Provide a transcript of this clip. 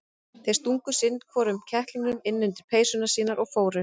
Þeir stungu sinn hvorum kettlingnum inn undir peysurnar sínar og fóru.